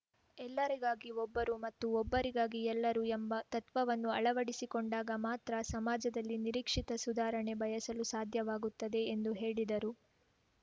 ಎಲ್ಲರಿಗಾಗಿ ಒಬ್ಬರು ಮತ್ತು ಒಬ್ಬರಿಗಾಗಿ ಎಲ್ಲರು ಎಂಬ ತತ್ವವನ್ನು ಅಳವಡಿಸಿಕೊಂಡಾಗ ಮಾತ್ರ ಸಮಾಜದಲ್ಲಿ ನಿರೀಕ್ಷಿತ ಸುಧಾರಣೆ ಬಯಸಲು ಸಾಧ್ಯವಾಗುತ್ತದೆ ಎಂದು ಹೇಳಿದರು